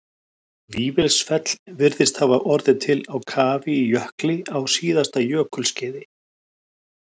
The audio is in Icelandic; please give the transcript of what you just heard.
Vífilsfell virðist hafa orðið til á kafi í jökli á síðasta jökulskeiði.